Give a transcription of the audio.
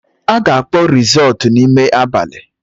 A ga-akpọ rizọọtụ n’ime abali